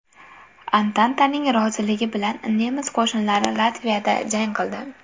Antantaning roziligi bilan nemis qo‘shinlari Latviyada jang qildi.